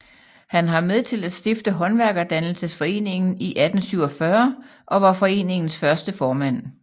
Han har med til at stifte Håndværkerdannelsesforeningen i 1847 og var foreningens første formand